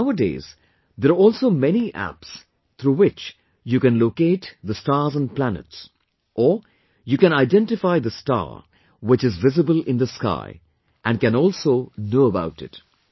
Nowadays, there are also many apps through which you can locate the stars and planets, or, you can identify the star which is visible in the sky and can also know about it